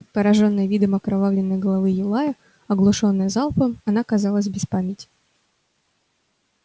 поражённая видом окровавленной головы юлая оглушённая залпом она казалась без памяти